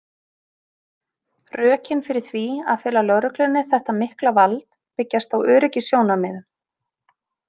Rökin fyrir því að fela lögreglunni þetta mikla vald byggjast á öryggissjónarmiðum.